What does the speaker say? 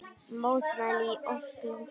Mótmæli í Osló